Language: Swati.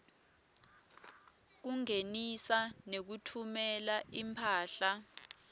kungenisa nekutfumela imphahla